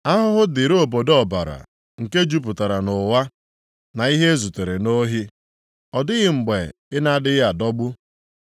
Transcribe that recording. Ahụhụ dịrị obodo ọbara, nke jupụtara nʼụgha, na ihe e zutere nʼohi. Ọ dịghị mgbe ị na-adịghị adọgbu.